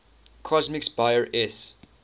comics buyer s